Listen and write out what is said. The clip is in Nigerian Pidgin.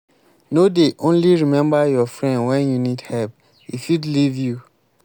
no dey only remember your friend wen you need help e fit leave you.